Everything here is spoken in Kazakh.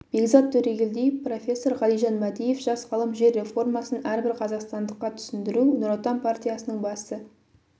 бекзат төрегелдиев профессор ғалижан мәдиев жас ғалым жер реформасын әрбір қазақстандыққа түсіндіру нұр отан партиясының басты